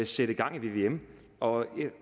sætte gang i vvm og